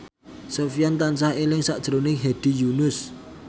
Sofyan tansah eling sakjroning Hedi Yunus